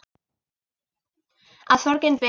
Að sorgin beið.